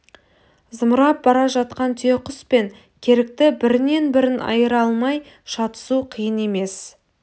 зымырап бара жатқан түйеқұс пен керікті бірінен бірін айыра алмай шатысу қиын емес